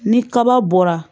Ni kaba bɔra